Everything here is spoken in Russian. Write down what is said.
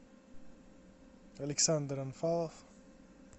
александр анфалов